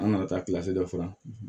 An nana taa dɔ fana